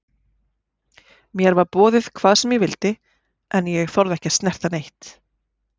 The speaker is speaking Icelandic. Mér var boðið hvað sem ég vildi en ég þorði ekki að snerta neitt.